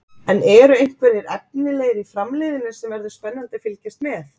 En eru einhverjir efnilegir í Framliðinu sem verður spennandi að fylgjast með?